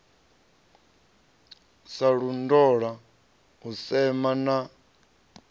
sa londola u sema na